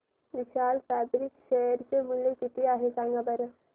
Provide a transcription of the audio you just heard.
विशाल fabrics share चे मूल्य किती आहे सांगा बरं